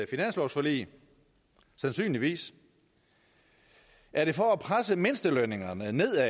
finanslovsforlig sandsynligvis er det for at presse mindstelønningerne nedad